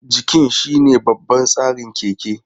Jikin shine babban tsarin keke.